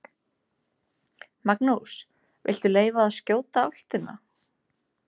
Magnús: Viltu leyfa að skjóta álftina?